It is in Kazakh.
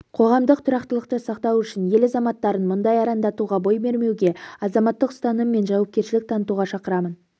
қоғамдық тұрақтылықты сақтау үшін ел азаматтарын мұндай арандатуға бой бермеуге азаматтық ұстаным мен жауапкершілік танытуға шақырамын